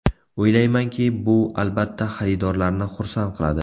O‘ylaymanki, bu albatta xaridorlarni xursand qiladi.